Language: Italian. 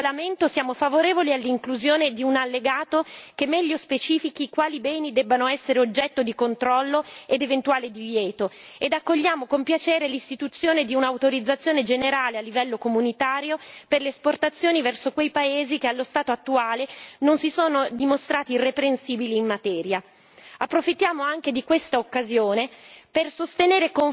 Nello specifico del regolamento, siamo favorevoli all'inclusione di un allegato che meglio specifichi quali beni debbano essere oggetto di controllo ed eventuale divieto, e accogliamo con piacere l'istituzione di un'autorizzazione generale a livello dell'UE per le esportazioni verso quei paesi che allo stato attuale non si sono dimostrati irreprensibili in materia. Approfittiamo anche di questa occasione